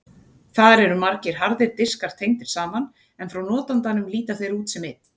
Þar eru margir harðir diskar tengdir saman en frá notandanum líta þeir út sem einn.